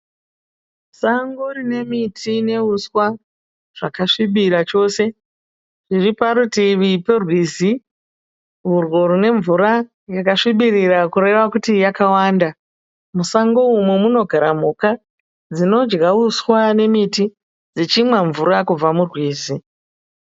Sango rine miti nehuswa zvakasvibira chose, riri parutivi rwerwizi urwo rwune mvura yakasvibirira kureva kuti yakawanda. Musango umu munogara mhuka dzinodya uswa nemiti dzichinwa mvura kubva murwizi